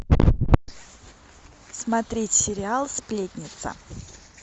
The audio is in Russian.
смотреть сериал сплетница